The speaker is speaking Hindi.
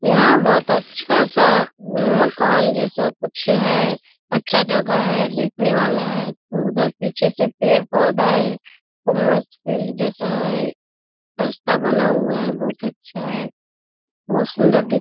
यहां बहुत अच्छा-सा मकान जैसा कुछ है अच्छा जगह है देखने वाला है उधर पीछे से पेड़-पौधा है उ मस्त फील्ड जैसा है रास्ता बना हुआ है बहुत अच्छा है बहुत सुंदर --